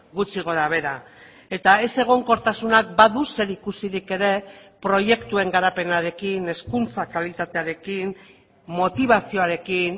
gutxi gora behera eta ez egonkortasunak badu zerikusirik ere proiektuen garapenarekin hezkuntza kalitatearekin motibazioarekin